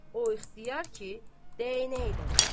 O ixtiyar ki, dəyənək də var.